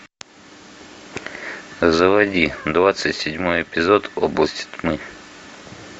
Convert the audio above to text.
заводи двадцать седьмой эпизод область тьмы